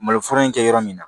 Maloforo in kɛ yɔrɔ min na